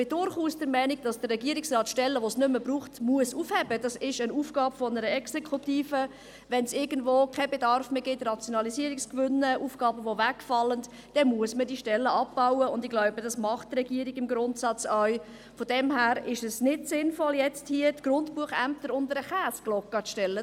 auch wir gerieten ein wenig ins Staunen ob der Turnübungen der Regierung, als es darum ging, diesen Begriff – ich sage jetzt – neu zu definieren.